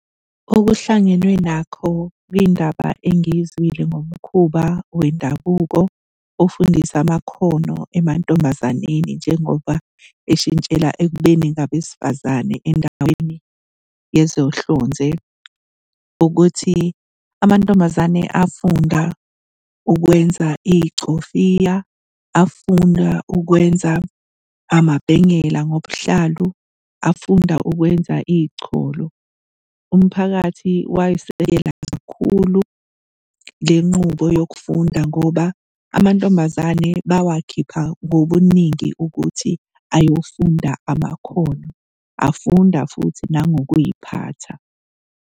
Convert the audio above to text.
Okuhlangenwe nakho kwindaba engiyizwile ngomkhuba wendabuko ofundisa amakhono emantombazaneni njengoba eshintshela ekubeni ngabesifazane endaweni yezohlonze, ukuthi amantombazane afunda ukwenza iy'cofiya, afunda ukwenza amabhengela ngobuhlalu, afunda ukwenza ichulu. Umphakathi wayisekela kakhulu le nqubo yokufunda ngoba amantombazane bawakhipha ngobuningi ukuthi ayofunda amakhono, afunda futhi nangokuy'phatha.